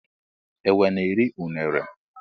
enwe na eri unere.